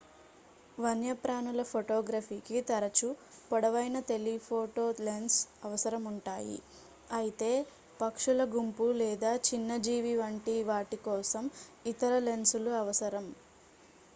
వన్యప్రాణుల ఫోటోగ్రఫీకి తరచూ పొడవైన టెలిఫోటో లెన్స్ అవసరం ఉంటాయి అయితే పక్షుల గుంపు లేదా చిన్న జీవి వంటి వాటి కోసం ఇతర లెన్సులు అవసరం